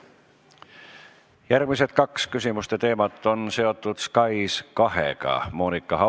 Järgmised kaks küsimuste teemat on seotud SKAIS2-ga.